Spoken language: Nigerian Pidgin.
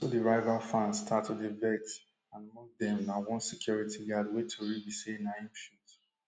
na so di rival fans start to dey vex and among dem na one security guard wey tori be say na im shoot